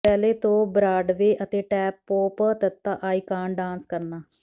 ballet ਤੋਂ Broadway ਅਤੇ tap pop ਤ ਆਈਕਾਨ ਡਾਂਸ ਕਰਨਾ